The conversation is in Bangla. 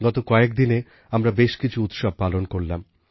গত কয়েকদিনে আমরা বেশ কিছু উৎসব পালন করলাম